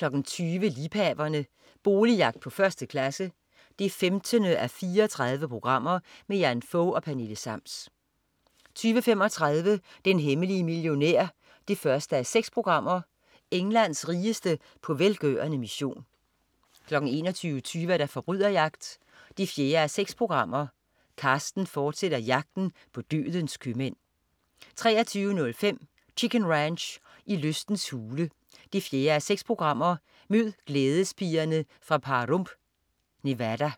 20.00 Liebhaverne. Boligjagt på 1. klasse. 15:34. Jan Fog og Pernille Sams 20.35 Den hemmelige millionær 1:6. Englands rigeste på velgørende mission 21.25 Forbryderjagt 4:6. Carsten fortsætter jagten på dødens købmænd 23.05 Chicken Ranch. I lystens hule 4:6. Mød glædespigerne fra Pahrump, Nevada